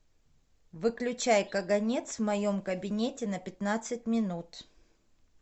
выключай каганец в моем кабинете на пятнадцать минут